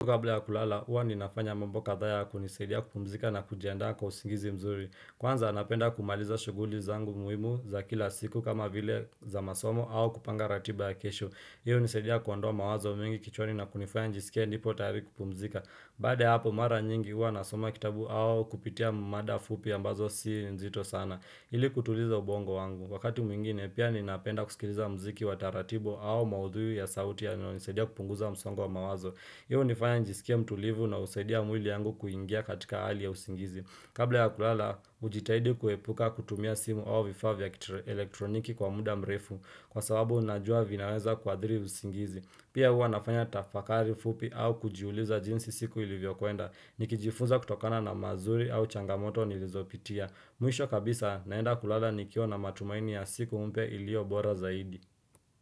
Kabla ya kulala, huwa ninafanya mambo kadhaa ya kunisidia kupumzika na kujiandaa kwa usingizi mzuri. Kwanza napenda kumaliza shughuli zangu muhimu za kila siku kama vile za masomo au kupanga ratiba ya kesho. Iyo inasadia kuondoa mawazo mengi kichwani na kunifaya nijisikia nipo tayari kupumzika. Baada ya hapo mara nyingi huwa nasoma kitabu au kupitia mada fupi ambazo si nzito sana. Ili kutuliza ubongo wangu. Wakati mwingine, pia ninapenda kusikiliza muziki wa taratibu au maudhui ya sauti yananisidia kupunguza msongo wa mawazo. Hii inifanya nijiskie mtulivu na usaidia mwili yangu kuingia katika hali ya usingizi. Kabla ya kulala, ujitahidi kuepuka kutumia simu awa vifa vya elektroniki kwa muda mrefu kwa sababu unajua vinaweza kwa adhiri usingizi. Pia hua nafanya tafakari fupi au kujiuliza jinsi siku ilivyo kuenda. Nikijifunza kutokana na mazuri au changamoto nilizopitia. Mwisho kabisa, naenda kulala nikiwa na matumaini ya siku mpya iliyo bora zaidi.